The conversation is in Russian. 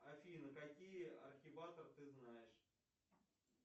афина какие архиватор ты знаешь